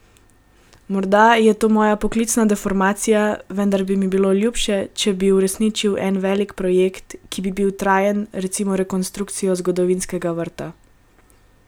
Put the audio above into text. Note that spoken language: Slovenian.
Morda je to moja poklicna deformacija, vendar bi mi bilo ljubše, če bi uresničili en, velik projekt, ki bi bil trajen, recimo rekonstrukcijo zgodovinskega vrta.